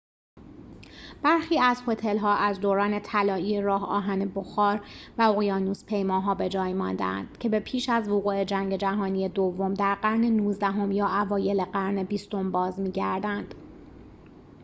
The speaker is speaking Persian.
برخی از هتل‌ها از دوران طلایی راه آهن بخار و اقیانوس‌پیماها به‌جای مانده‌اند که به پیش از وقوع جنگ جهانی دوم در قرن نوزدهم یا اوایل قرن بیستم باز می‌گردند